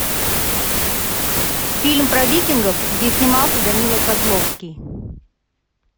фильм про викингов где снимался данила козловский